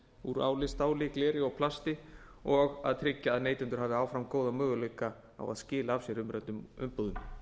úr áli stáli gleri og plasti og að tryggja að neytendur hafi áfram góða möguleika á að skila af sér umræddum umbúðum